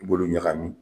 I b'olu ɲagami